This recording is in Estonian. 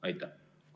Aitäh!